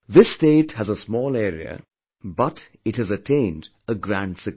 This state has a small area but it has attained a grand success